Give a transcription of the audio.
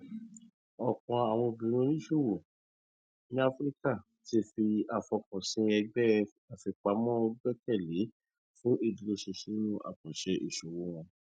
ọpọ àwọn obìnrin oníṣòwò ní áfíríkà ti fi àfọkànsìn ẹgbẹ àfipamọ gbẹkẹ lé fún ìdúrósinsin nínú àkànṣe iṣowo wọn